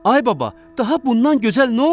Ay baba, daha bundan gözəl nə olar?